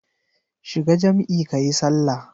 Shiga jam'i kayi sallah.